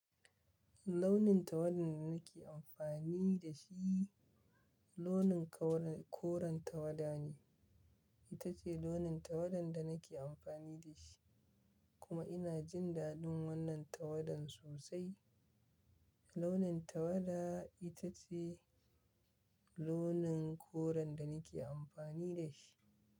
Launin tawada da nake amfani da shi launin koren tawada ne. Ita ce launin tawada da nake amfani da shi kuma ina jin daɗin wannan tawadan sosai. Launin tawada ita ce launin koren da nake amfani da shi.